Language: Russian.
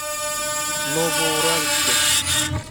новоуральске